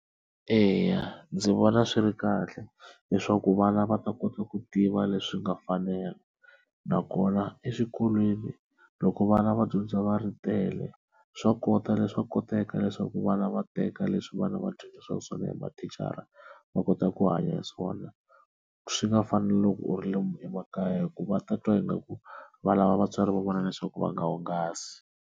Eya ndzi vona swi ri kahle leswaku vana va ta kota ku tiva leswi nga fanela nakona eswikolweni loko vana va dyondza va ri tele swa kota leswaku koteka leswaku vana va teka leswi vana va dyondzisiwa swona hi mathicara va kota ku hanya hi swona swi nga fani na loko u ri le emakaya hikuva ta twa ingaku va lava vatswari va vona leswaku va nga hungasi.